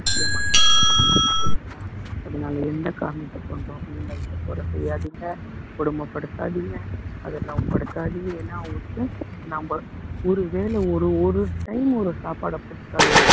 முக்கியமான விஷயம் இல்லைங்களா அதனால எந்த காரணத்தை கொண்டும் animals அ கொலை செய்யாதீங்க கொடுமை படுத்தாதீங்க அதெல்லாம் படுத்தாதீங்க ஏன்னா அவங்களுக்கு நாம ஒருவேளை ஒரு ஒரு ஒரு time ஒரு சாப்பாடை போட்டுட்டாலே